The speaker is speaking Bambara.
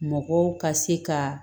Mɔgɔw ka se ka